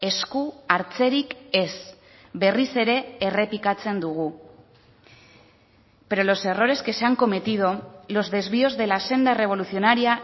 esku hartzerik ez berriz ere errepikatzen dugu pero los errores que se han cometido los desvíos de la senda revolucionaria